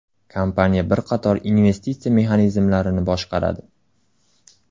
Kompaniya bir qator investitsiya mexanizmlarini boshqaradi.